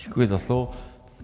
Děkuji za slovo.